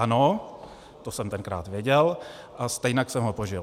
Ano, to jsem tenkrát věděl, a stejně jsem ho požil.